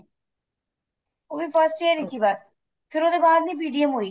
ਉਹ ਵੀ first year ਵਿੱਚ ਈ ਬੱਸ ਫੇਰ ਉਹਦੇ ਬਾਅਦ ਨੀ PTM ਹੋਈ